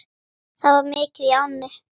Það var mikið í ánni.